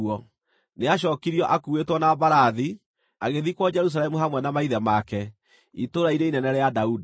Nĩacookirio akuuĩtwo na mbarathi, agĩthikwo Jerusalemu hamwe na maithe make, itũũra-inĩ inene rĩa Daudi.